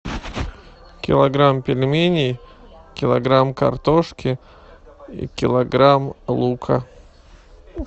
килограмм пельменей килограмм картошки и килограмм лука